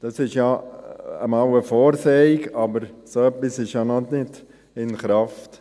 Das ist mal eine Vorsehung, aber so etwas ist ja noch nicht in Kraft.